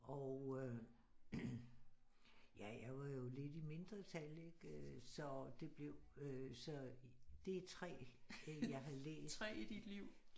Og øh ja jeg var jo lidt i mindretal ikke øh så det blev så det er 3 jeg har læst